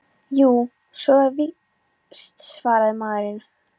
Jú, svo er víst- svaraði maðurinn.